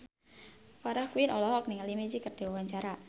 Farah Quinn olohok ningali Magic keur diwawancara